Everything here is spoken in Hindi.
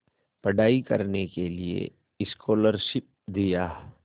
पढ़ाई करने के लिए स्कॉलरशिप दिया